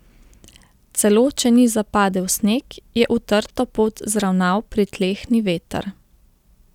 Celo če ni zapadel sneg, je utrto pot zravnal pritlehni veter.